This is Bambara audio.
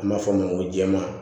An b'a fɔ a ma ko jɛma